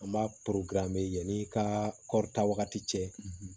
An b'a an bɛ yanni ka kɔrita wagati cɛ